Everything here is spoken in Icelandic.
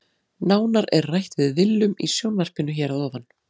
Nánar er rætt við Willum í sjónvarpinu hér að ofan.